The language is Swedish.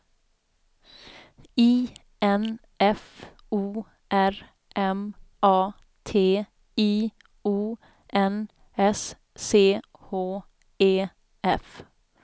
I N F O R M A T I O N S C H E F